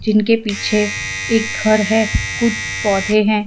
इनके पीछे एक घर है कुछ पौधे हैं।